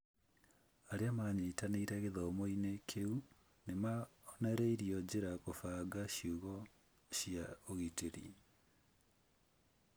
Arĩa maanyitanĩire gĩthomo-inĩ kĩu nĩ monereirio njĩra kũbanga ciugo cia ũgitĩri.